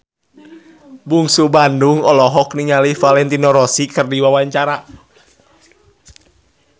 Bungsu Bandung olohok ningali Valentino Rossi keur diwawancara